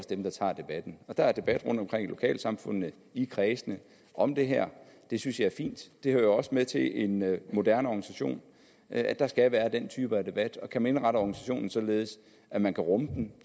dem der tager debatten der er debat rundtomkring i lokalsamfundene i kredsene om det her det synes jeg er fint det hører også med til en moderne organisation at der skal være den type debat og kan man indrette organisationen således at man kan rumme den